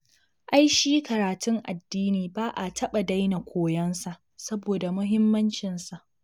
Ai shi karatun addini ba a taɓa daina koyonsa saboda muhimmancinsa